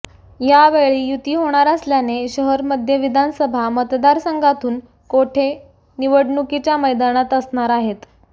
यावेळी युती होणार असल्याने शहर मध्य विधानसभा मतदारसंघातून कोठे निवडणुकीच्या मैदानात असणार आहेत